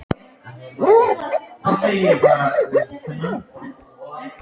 Komdu sæll, ég heiti Jóra Gamladóttir